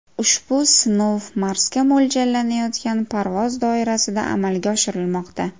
Ushbu sinov Marsga mo‘ljallanayotgan parvoz doirasida amalga oshirilmoqda.